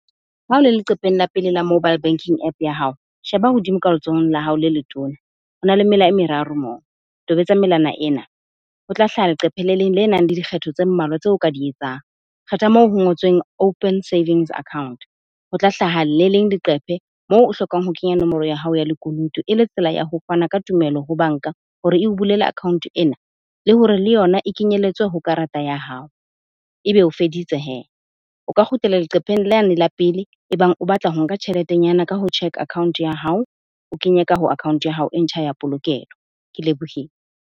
Ha o le leqepheng la pele la mobile banking app ya hao. Sheba hodimo ka letsohong la hao le letona. Ho na le mela e meraro moo, tobetsa melana ena. Ho tla hlaha leqephe le leng le nang le dikgetho tse mmalwa tse o ka di etsang. Kgetha moo ho ngotsweng open savings account, ho tla hlaha le leng leqephe moo o hlokang ho kenya nomoro ya hao ya lekunutu e le tsela ya ho fana ka tumelo ho bank-a, hore o bulela account e nngwe. Le hore le yona e kenyelletswe ho karata ya hao. Ebe o feditse he, o ka kgutlela leqepheng la yane la pele. E bang o batla ho nka tjheletenyana ka ho cheque account ya hao, o ke nyaka ho account ya hao e ntjha ya polokelo. Ke lebohile.